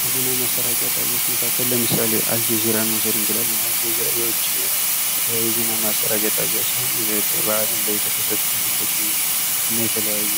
ከዜና ማሰራጫ ጣቢያዎች መካከል ለምሳሌ አልጀዚራን መውሰድ እንችላለን አልጀዚራ የዉጭ የዜና ማሰራጫ ጣቢያ ሲሆን በአለም ላይ የተከሰቱ ድርጊቶችን እና የተለያዩ